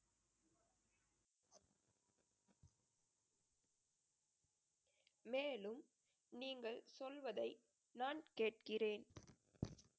மேலும் நீங்கள் சொல்வதை, நான் கேட்கிறேன்